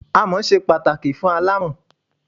Amọ̀ ṣe pàtàkì fún aláàmọ̀n.